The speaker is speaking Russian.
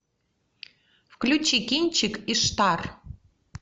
включи кинчик иштар